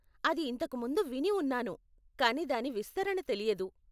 అది ఇంతకు ముందు విని ఉన్నాను, కానీ దాని విస్తరణ తెలియదు.